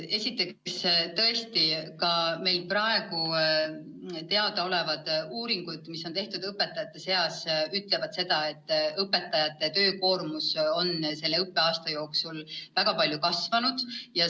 Esiteks, tõesti, ka meile praegu teada olevad uuringud, mis õpetajate seas on tehtud, ütlevad seda, et õpetajate töökoormus on selle õppeaasta jooksul väga palju kasvanud.